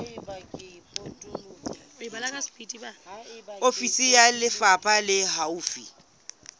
ofisi ya lefapha le haufi